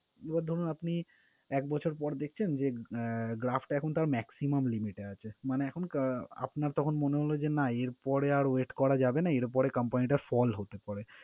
এবার ধরুন আপনি এক বছর পর দেখছেন যে, আহ graph টা এখন তার maximum limit এ আছে। মানে এখন আহ আপনার তখন মনে হলো যে না এর পরে আর wait করা যাবে না, এরপরে company টা fall হতে পারে।